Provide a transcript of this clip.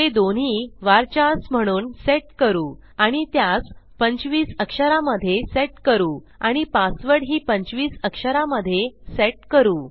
ते दोन्ही वर्चर्स म्हणून सेट करू आणि त्यास 25 अक्षरामध्ये सेट करू आणि पासवर्ड ही 25अक्षरामध्ये सेट करू